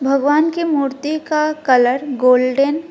भगवान की मूर्ति का कलर गोल्डन --